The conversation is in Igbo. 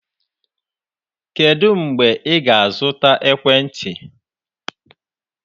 Kedu mgbe ị ga-azụta ekwentị?